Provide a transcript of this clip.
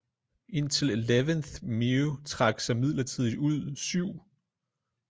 Indtil 11th meu trak sig midlertidigt ud 7